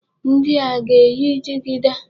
Ndi a, a ga-eyi jigida?